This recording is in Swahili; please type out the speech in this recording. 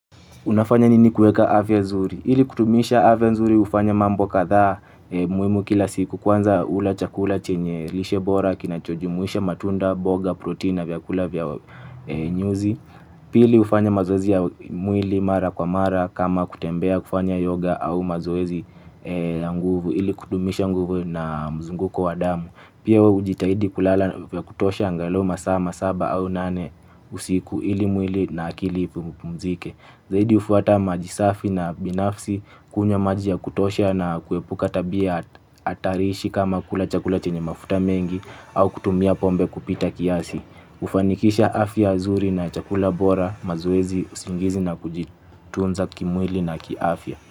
Unafanya nini kueka afya nzuri? Ili kutumisha afya nzuri hufanya mambo kadha muhimu kila siku kwanza ula chakula chenye lishe bora kinachojumuisha matunda boga protein vyakula vya nyuzi. Pili hufanya mazoezi ya mwili mara kwa mara kama kutembea kufanya yoga au mazoezi na nguvu ili kudumisha nguvu na mzunguko wa damu. Pia hujitahidi kulala vya kutosha angalu masaa masaba au nane usiku ili mwili na akili upumzike. Zaidi hufuata maji safi na binafsi, kunywa maji ya kutosha na kuepuka tabia hatarishi kama kula chakula chenye mafuta mengi au kutumia pombe kupita kiasi. hufanikisha afya zuri na chakula bora mazoezi usingizi na kujitunza kimwili na kiafya.